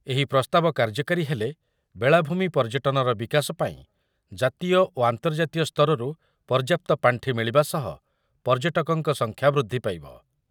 ଏହି ପ୍ରସ୍ତାବ କାର୍ଯ୍ୟକାରୀ ହେଲେ ବେଳାଭୂମି ପର୍ଯ୍ୟଟନର ବିକାଶ ପାଇଁ ଜାତୀୟ ଓ ଆନ୍ତର୍ଜାତୀୟ ସ୍ତରରୁ ପର୍ଯ୍ୟାପ୍ତ ପାଣ୍ଠି ମିଳିବା ସହ ପର୍ଯ୍ୟଟକଙ୍କ ସଂଖ୍ୟା ବୃଦ୍ଧି ପାଇବ ।